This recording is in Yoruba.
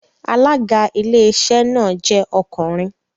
Alága Iléeṣẹ́ náà jẹ́ ọkùnrin